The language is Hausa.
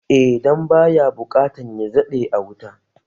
Eh dan baya buƙatan ya daɗe a wuta